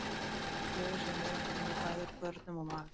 Í raun getur hljóðið sem við heyrum komið bæði úr görnum og maga.